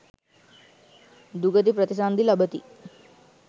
දුගති ප්‍රතිසන්ධි ලබති.